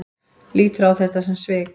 Lítur á þetta sem svik?